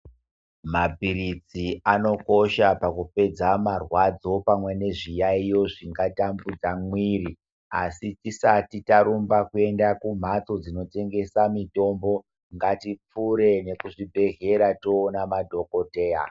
Mapiritsi anokosha pakupedza marwadzo pamwe nezviyaiyo zvingatambudza mwiri asi tisati tarumba kuenda kumhatso dzinotengesa mutombo ngatipfure nekuzvibhedhleya toona madhokodheya.